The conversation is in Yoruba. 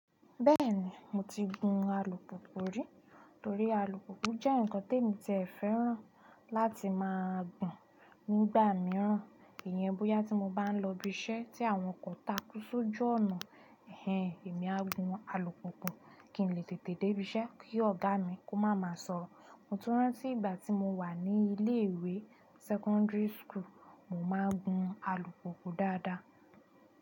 Bẹ́ẹ̀ni, mo ti gun alùpùpù rí, torí alùpùpù jẹ́ nǹkan te mi tí è fẹ́ràn láti máa gun nígbà míràn, ìyẹn bóyá tí mo bá ń lọ ibi iṣẹ́ tí àwọn okò takú sojù ọ̀nà, ẹhen, èmi á gun alùpùpù kí n lè tètè dé ibi iṣẹ́ kí ọ̀gá mi kó máa ma sọ̀rọ̀. Mo tun rántí ìgbà ti mo wa ni ilé-ìwé secondary school, mo maa n gun alùpùpù daada.